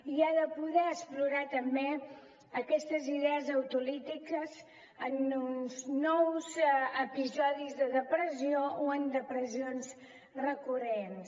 i ha de poder explorar també aquestes idees autolítiques en uns nous episodis de depressió o en depressions recurrents